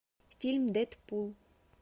фильм дэдпул